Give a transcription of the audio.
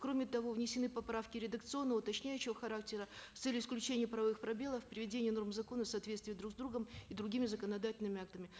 кроме того внесены поправки редакционного уточняющего характера с целью исключения правовых пробелов приведение норм закона в соответствие друг с другом и другими законодательными актами